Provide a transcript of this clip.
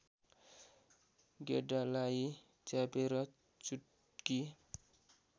गेडालाई च्यापेर चुट्की